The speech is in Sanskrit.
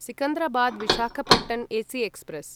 Secunderabad Visakhapatnam AC express